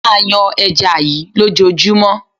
Máa yan ẹja yí ló jọ júmọ́.